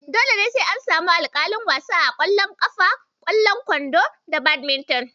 Dole sai an samu alƙalin wasa a ƙwallon ƙafa, ƙwallon kwando, da Badminton.